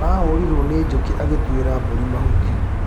Arahũrirwo nĩ njũkĩ agĩtuira mburi mahuti.